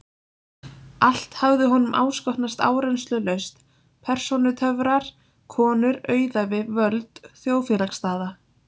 Allt hafði honum áskotnast áreynslulaust: persónutöfrar, konur, auðæfi, völd, þjóðfélagsstaða.